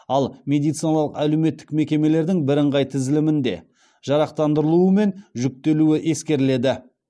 ал медициналық әлеуметтік мекемелердің бірыңғай тізілімінде жарақтандырылуы мен жүктелуі ескеріледі